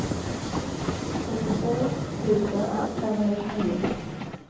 fyrtiotvå tusen femhundratjugonio